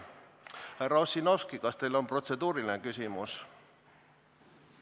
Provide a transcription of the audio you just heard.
Härra Ossinovski, kas teil on protseduuriline küsimus?